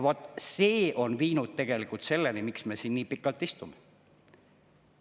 Vot see on viinud selleni, miks me siin nii pikalt istume.